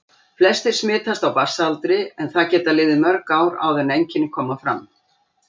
Flestir smitast á barnsaldri en það geta liðið mörg ár áður en einkenni koma fram.